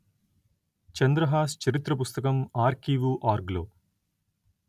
చంద్రహాస్ చరిత్ర పుస్తకం ఆర్కీవుఆర్గ్ లో